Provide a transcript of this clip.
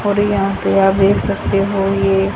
और यहां पे आप देख सकते हो ये--